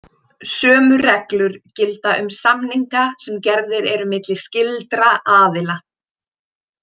Sömu reglur gilda um samninga sem gerðir eru milli skyldra aðila.